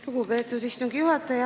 Lugupeetud istungi juhataja!